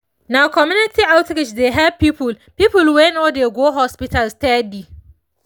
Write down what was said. na community outreach dey help people people wey no dey go hospital steady